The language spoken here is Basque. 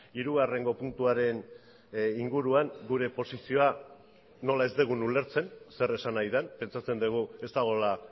hirugarrengo puntuaren inguruan gure posizioa nola ez dugun ulertzen zer esan nahi den pentsatzen dugu ez dagoela